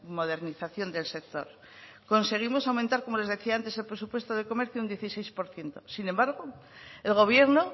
modernización del sector conseguimos aumentar como les decía antes el presupuesto de comercio un dieciséis por ciento sin embargo el gobierno